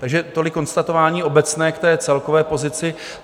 Takže tolik konstatování obecné k té celkové pozici.